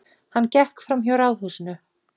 Hann gekk framhjá ráðhúsinu.